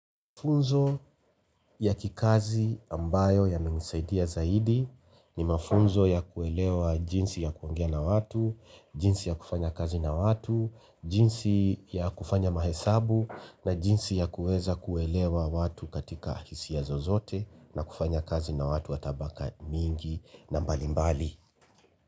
Mafunzo ya kikazi ambayo yana nisaidia zaidi ni mafunzo ya kuelewa jinsi ya kuongea na watu, jinsi ya kufanya kazi na watu, jinsi ya kufanya mahesabu na jinsi ya kuweza kuelewa watu katika hisia ya zozote na kufanya kazi na watu wa tabaka mingi na mbalimbali.